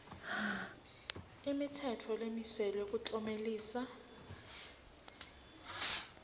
imitsetfo lemiselwe kuklomelisa